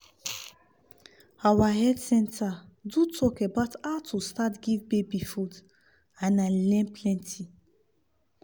our health center do talk about how to start give baby food and i learn plenty.